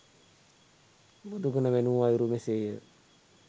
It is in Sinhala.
බුදුගුණ වැණූ අයුරු මෙසේ ය.